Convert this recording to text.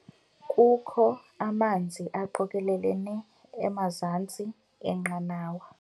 Kukho amanzi aqokelelene emazantsi enqanawa.